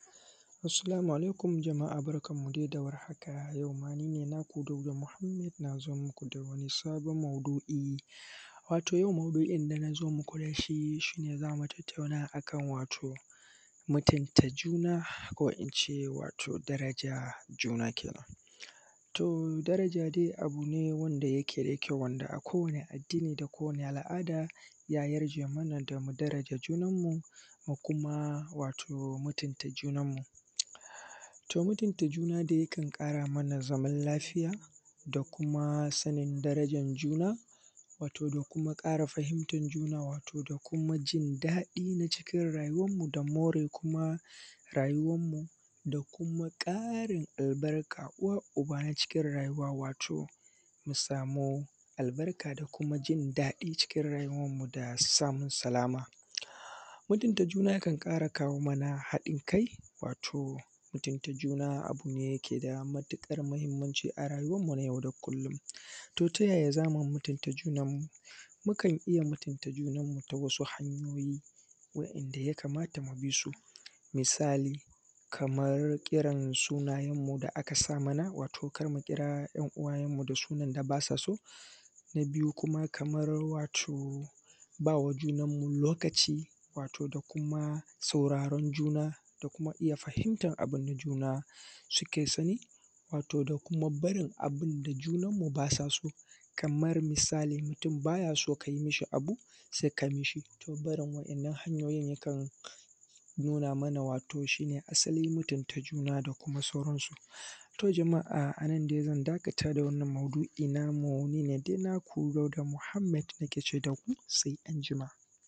Assalamu alaikum jama’a barkan mu dai da warhaka. A yau ma dai ni ne naku Dauda Mohammed yau ma na zo muku da wani sabon maudu’I, wato yau maudu’oin da na zo muku da shi shi ne za mu tattauna akan wato mutunta juna ko in ce wato daraja juna kenan, to daraja dai abu ne wanda yake da kyau, wanda ako wani addini da kowani al’ada ya yarje mana da mu daraja junan mu, mu kuma wato mutunta junan mu. To, mutunta juna dai yakan ƙara mana zaman lafiya da kuma sanin darajan juna, wato da kuma ƙara fahimtan juna, wato da kuma jin daɗi na cikun rayuwan mu da more kuma rayuwan mu da kuma ƙarin albarka uwa-uba na cikin rayuwa wato mu samu albarka da kuma jin daɗi cikin rayuwan mu da samun salama, mutunta juna ya kan ƙara kawo mana haɗin kai, wato mutunta juna abu ne da ke da matuƙar muhimmanci a rayuwan mu na yau da kullun. To, ta yaya za mu mutunta junan mu? Mukan iya mutunta junan mu ta wasu hanyoyi waɗanda ya kamata mu bi su misali kamar irin sunayen mu da aka sa mana wato kar mu kira ‘yan uwayenmu da sunan da basa so. Na biyu kuma kamar wato ba wa junan mu lokaci wato da kuma sauraron juna da kuma iya fahimtan abu na juna suke sani wato da kuma barin abun da junan mu basa so, kamar misali mutum ba ya so ka yi abu da kai mishi, to barin waɗannan hanyoyin ya kan nuna mana wato shi ne asali mutunta juna da kuma sauran su. To, jama’a a nan dai zan dakata da wannan maudu’i namu ni ne dai naku Dauda Muhammad nake ce da ku sai anjima.